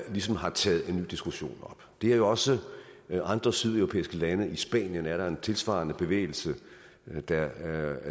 ligesom har taget den diskussion op det er jo også andre sydeuropæiske lande i spanien er der en tilsvarende bevægelse der